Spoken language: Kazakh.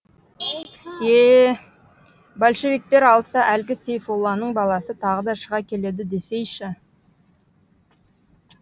е е большевиктер алса әлгі сейфулланың баласы тағы да шыға келеді десейші